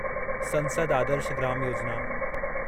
संसद आदर्श ग्राम योजिना